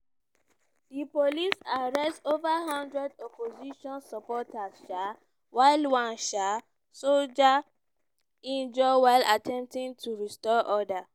di police arrest ova hundred opposition supporters um while one um soldier injure while attempting to restore order.